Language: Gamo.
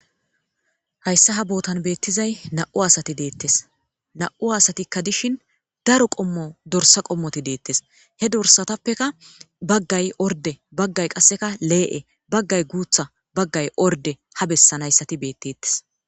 hayssa ha bootan beettizay na'u asati deettes na'u asatikka dishin daro qommo dorsa qommoti deettes he dorsatappeka baggay orde baggay qasseka lee'e baggay guutha baggay orde ha bessan hayssati beettettes